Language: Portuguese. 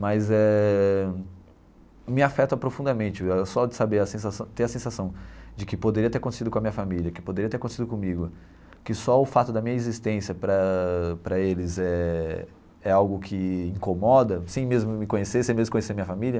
Mas eh me afeta profundamente só de saber a sensação ter a sensação de que poderia ter acontecido com a minha família, que poderia ter acontecido comigo, que só o fato da minha existência para para eles éh é algo que incomoda assim, sem mesmo me conhecer, sem mesmo conhecer a minha família.